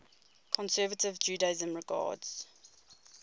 conservative judaism regards